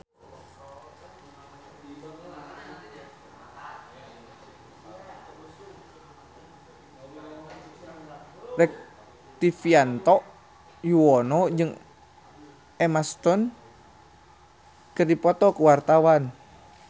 Rektivianto Yoewono jeung Emma Stone keur dipoto ku wartawan